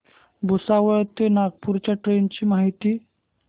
भुसावळ ते नागपूर च्या ट्रेन ची माहिती